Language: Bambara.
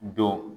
Don